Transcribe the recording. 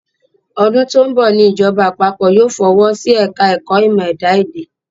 Ọdún tó ń bọ̀ ni ìjọba àpapọ̀ yóò fọwọ́ sí ẹ̀ka ẹ̀kọ́ ìmọ̀ ẹ̀dá-èdè